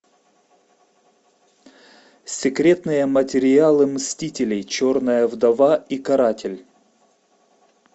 секретные материалы мстителей черная вдова и каратель